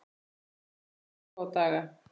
Þetta tók örfáa daga.